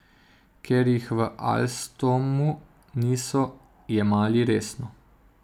Ker jih v Alstomu niso jemali resno.